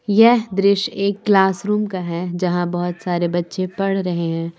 यह दृश्य एक क्लास रूम का है जहां बहोत सारे बच्चे पढ़ रहे हैं।